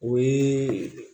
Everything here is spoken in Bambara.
O ye